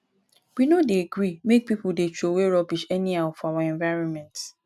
we no dey gree make pipo dey troway rubbish anyhow for our environment